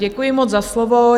Děkuji moc za slovo.